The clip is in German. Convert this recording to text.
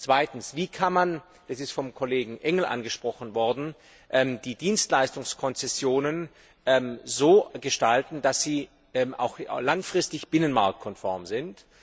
Zweitens Wie kann man das ist vom Kollegen Engel angesprochen worden die Dienstleistungskonzessionen so gestalten, dass sie auch langfristig binnenmarktkonform sind?